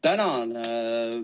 Tänan!